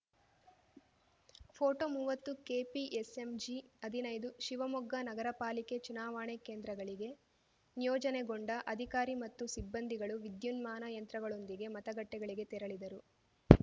photo ಮುವತ್ತುಕೆಪಿಎಸ್‌ಎಂಜಿ ಹದಿನೈದು ಶಿವಮೊಗ್ಗ ನಗರಪಾಲಿಕೆ ಚುನಾವಣೆ ಕೇಂದ್ರಗಳಿಗೆ ನಿಯೋಜನೆಗೊಂಡ ಅಧಿಕಾರಿ ಮತ್ತು ಸಿಬ್ಬಂದಿಗಳು ವಿದ್ಯುನ್ಮಾನ ಯಂತ್ರಗಳೊಂದಿಗೆ ಮತಗಟ್ಟೆಗಳಿಗೆ ತೆರಳಿದರು